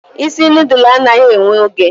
isi nudulu anaghị ewe oge